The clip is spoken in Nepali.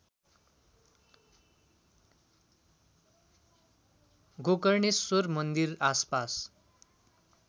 गोकर्णेश्वर मन्दिर आसपास